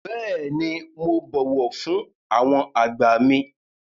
Bẹ́ẹ̀ni, mo bọ̀wọ̀ fún àwọn àgbà mi.